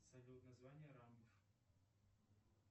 салют название рамбов